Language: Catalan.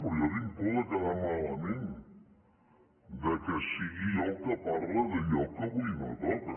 però jo tinc por de quedar malament que sigui jo el que parla d’allò que avui no toca